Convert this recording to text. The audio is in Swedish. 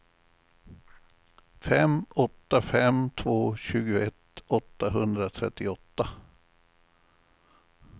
fem åtta fem två tjugoett åttahundratrettioåtta